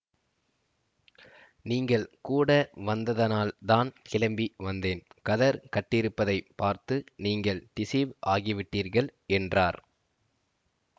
நீங்கள் கூட வந்ததனால் தான் கிளம்பி வந்தேன் கதர் கட்டியிருப்பதைப் பார்த்து நீங்கள் டிஸீவ் ஆகிவிட்டீர்கள் என்றார்